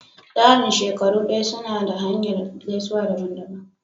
Tsaran shekaru daya suna da hanyar gaisuwa daban-daban.